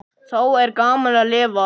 Þá er gaman að lifa!